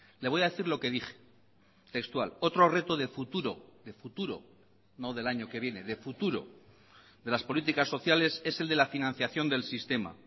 le voy a decir lo que dije textual otro reto de futuro de futuro no del año que viene de futuro de las políticas sociales es el de la financiación del sistema